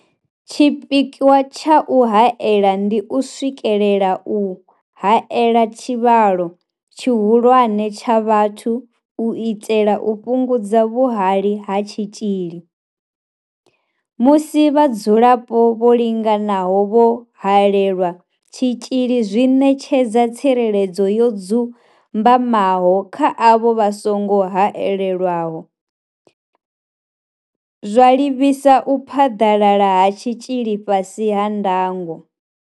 Tshipikwa tsha u haela ndi u swikelela u haela tshivhalo tshihulwane tsha vhathu u itela u fhungudza vhuhali ha tshitzhili, musi vhadzulapo vho linganaho vho haelelwa tshitzhili zwi ṋetshedza tsireledzo yo dzumbamaho kha avho vha songo haelwaho, zwa livhisa u phaḓalala ha tshitzhili fhasi ha ndango.